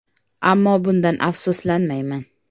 Ammo bundan afsuslanmayman.